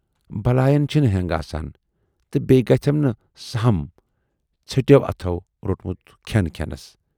""بلایَن چھِنہٕ ہٮ۪نگ آسان تہٕ بییہِ گَژھٮ۪م نہٕ سہم ژھیٹٮ۪و اَتھو رونمُت کھٮ۪ن کھٮ۪نَس۔